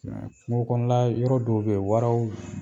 kungokɔnɔna yɔrɔ dɔw be yen waraw